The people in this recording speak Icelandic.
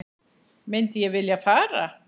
Myndi ég vilja fara?